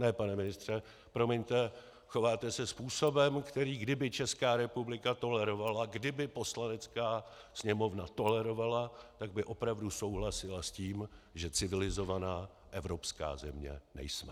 Ne, pane ministře, promiňte, chováte se způsobem, který kdyby Česká republika tolerovala, kdyby Poslanecká sněmovna tolerovala, tak by opravdu souhlasila s tím, že civilizovaná evropská země nejsme.